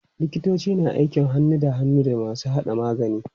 Likitoci na aiki hannu da hannu da masu haɗa magani.